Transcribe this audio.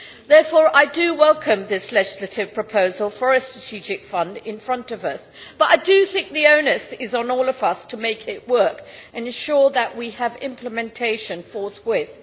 Therefore I welcome this legislative proposal for a strategic fund that is in front of us, but the onus is on all of us to make it work and ensure that we have implementation forthwith.